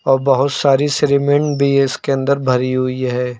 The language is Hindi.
और बहुत सारी श्रीमेन भी इसके अंदर भरी हुई है।